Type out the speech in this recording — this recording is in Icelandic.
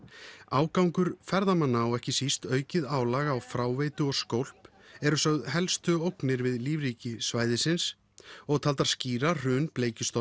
ágangur ferðamanna og ekki síst aukið álag á fráveitu og skólp eru sögð helstu ógnir við lífríki svæðisins og taldar skýra hrun